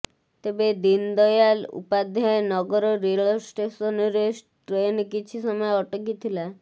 ତେବେ ଦୀନ୍ଦୟାଲ ଉପାଧ୍ୟାୟ ନଗର ରେଳ ଷ୍ଟେସନ୍ରେ ଟ୍ରେନ୍ କିଛି ସମୟ ଅଟକିଥିଲା